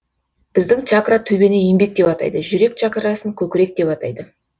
біздің чакра төбені еңбек деп атайды жүрек чакрасын көкірек деп атайды